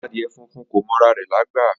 Adie funfun ko mọ ara re lagba.